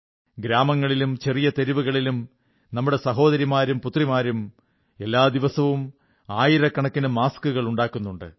ഗ്രാമങ്ങളിലും ചെറിയ തെരുവുകളിലും നമ്മുടെ സഹോദരിമാരും പുത്രിമാരും എല്ലാ ദിവസവും ആയിരക്കണക്കിന് മാസ്കുകൾ ഉണ്ടാക്കുന്നുണ്ട്